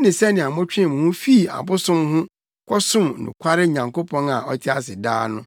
ne sɛnea motwee mo ho fii abosom ho kɔsom nokware Nyankopɔn a ɔte ase daa no,